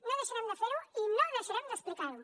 no deixarem de fer ho i no deixarem d’explicar ho